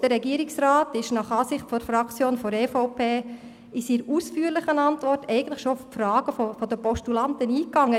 Weiter ist der Regierungsrat nach Ansicht der EVP-Fraktion in seiner ausführlichen Antwort bereits auf die Fragen der Postulanten eingegangen.